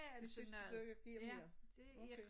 Det synes du giver mere? Okay